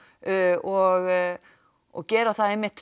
og og gera það einmitt